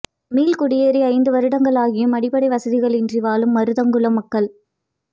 மீள்குடியேறி ஐந்து வருடங்களாகியும் அடிப்படை வசதிகள் இன்றி வாழும் மருதங்குளம் மக்கள்